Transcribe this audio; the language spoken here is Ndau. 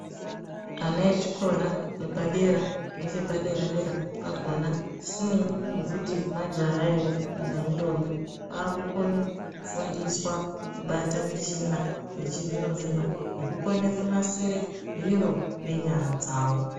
Ana echikora chepadera nechepadera dera pakona zvisinei nekuti majaha ere kana indombi akukone kufundiswa kubata michina yechizvino zvino nekukone kunasire zviro nenyara dzawo.